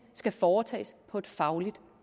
skal foretages på et fagligt